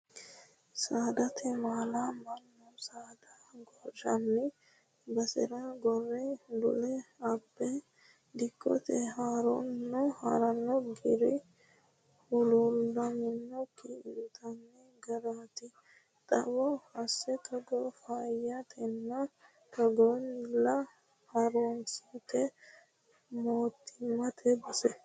Saadate maala mannu saada gorinanni basera gore dule abbe dikkote hirano gari huluulammikki intanni garati xawo assa togo faayyatenna togonnilla harunsitto mootimmate bissa.